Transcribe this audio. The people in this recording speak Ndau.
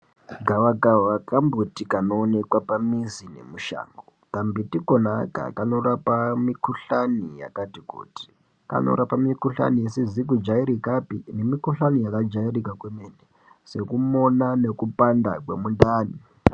Gava kava kamuti kunoonekwa pamuzi nemushango kambuti Kona aka kanorapa mikuhlani yakati kuti kanorapa mikuhlani isizi kujairikapi nemikuhlani yakajairika kwemene sekumona nekupanda kwemundani.